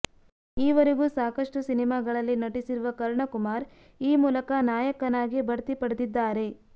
ಈವರೆಗೂ ಸಾಕಷ್ಟು ಸಿನಿಮಾಗಳಲ್ಲಿ ನಟಿಸಿರುವ ಕರ್ಣ ಕುಮಾರ್ ಈ ಮೂಲಕ ನಾಯಕನಾಗಿ ಭಡ್ತಿ ಪಡೆದಿದ್ದಾರೆ